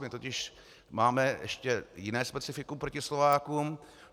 My totiž máme ještě jiné specifikum proti Slovákům.